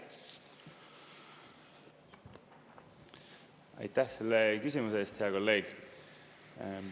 Aitäh selle küsimuse eest, hea kolleeg!